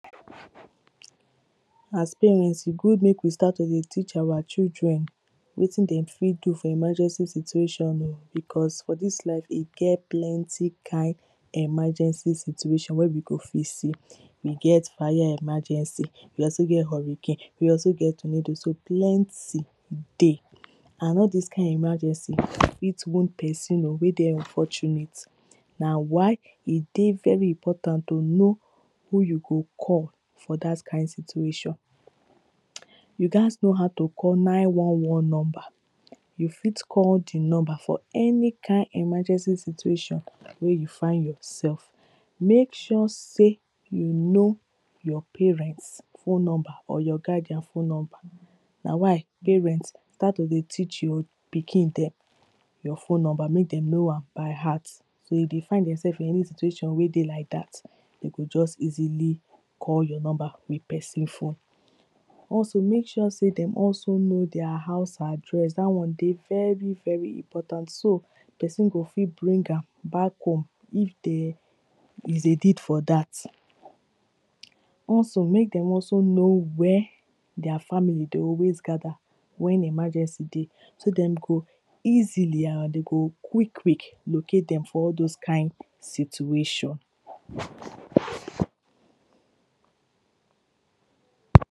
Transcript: As parents e good make we start to dey teach our children wetin dem fit do for emergency situation oh, because for dis life e get plenty kind emergency situation wey we go fit see. We get fire emergency we also get hurricane, we also get tornado, so plenty dey and all dis kind emergency fit wound person oh wey dey unfortunate Na why e dey very important to know who you go call for dat kind situation You gat know how to call nine one one number. You fit call di number for any kind emergency situation wey you find yourself. Make sure sey you know your parents phone number or your guardian phone number. Na why parents start to dey teach your pikin dem your phone number make dem know by heart. So if you find yourself wey dey like dat e go just easily call your number with person phone Also make sure sey dem also know their house address, dat one dey very very important. So person go fit bring am back home, if there is a need for dat Also make dem also know where their family dey always gather, wen emergency dey So dat dem go easily and dey go quick quick locate dem for all those kind situation